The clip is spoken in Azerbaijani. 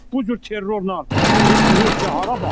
Bu cür terrorla Rusiya hara baxır?